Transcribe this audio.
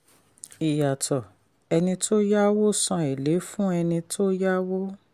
ìyàtọ̀: ẹni tó yáwó san èlé fún ẹni tó yáwó.